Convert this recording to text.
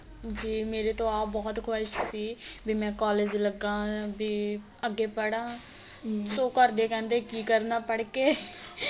ਜੀ ਮੇਰੇ ਤੋਂ ਆਪ ਬਹੁਤ ਖੁਆਇਸ਼ ਸੀ ਬੀ ਮੈਂ college ਲੱਗਾ ਬੀ ਅਗੇ ਪੜਾ so ਘਰਦੇ ਕਹਿੰਦੇ ਕੀ ਕਰਨਾ ਪੜ ਕੇ